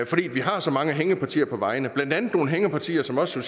fordi vi har så mange hængepartier på vejene blandt andet nogle hængepartier som også